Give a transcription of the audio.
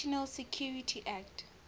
national security act